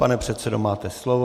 Pane předsedo, máte slovo.